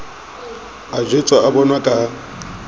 a jwetswa o bonwa ka